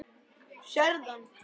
Sérðu hann?